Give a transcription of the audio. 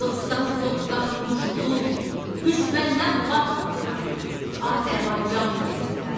Dostdan sovqat, muşduluq, düşməndən bac alaram Azərbaycan deyəndə.